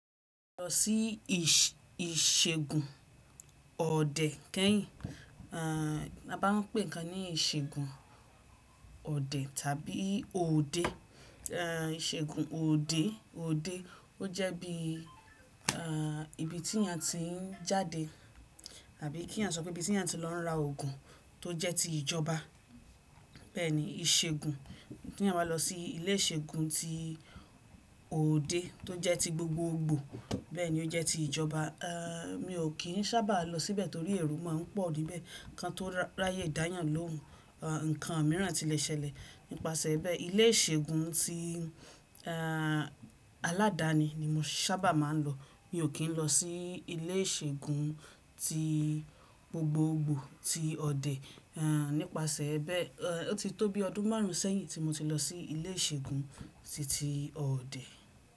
Lọ sí ìṣẹgun ọdẹ kẹ́yìn, a bá ń pè kan ní ìṣẹgun ọdẹ tàbí òde, ìṣẹgun òde, òde ó jẹ́ bí ibi tí a ti ń jáde tàbí kí a sọ pé bí tí a ti ń lọ ra oògùn tó jẹ́ ti ìjọba. Bẹ́ẹ̀ni ìṣẹ́gun tí eyan ba lọ sí ilé ìṣẹ́gun ti òde tó jẹ́ ti gbogbogbò bẹ́ẹ̀ni ó jẹ́ ti ìjọba. Mi ò kí ń sábà lọ síbẹ̀ torí èrò máa ń pọ̀ níbẹ̀. Kan tó ráyè dáyàn lóhùn, ǹkan míràn ti lè ṣẹlẹ̀. Nípasẹ̀ bẹ́ẹ ilé ìṣẹ́gun ti aládàáni ni mo sábà máa ń lọ. Mi ò kí ń lọ sí ilé ìṣẹ́gun ti gbogbogbò ti ọdẹ. Nípasẹ̀ bẹ́ẹ ó ti tó bí ọdún márùn sẹ́yìn tí mo ti lọ sí ilé ìṣẹ́gun titi ọdẹ.